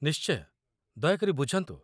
ନିଶ୍ଚୟ। ଦୟାକରି ବୁଝନ୍ତୁ!